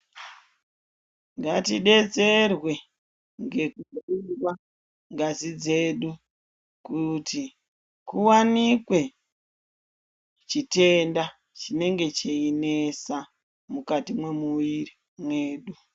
Ngatidetserwe ngekutorwa ngazi dzedu kuti kuwanikwe chitenda chinenge cheinesa mukati memwiri mwedu.